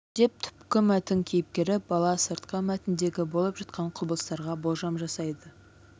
деп түпкі мәтін кейіпкері бала сыртқы мәтіндегі болып жатқан құбылыстарға болжам жасайды